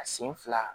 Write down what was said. A sen fila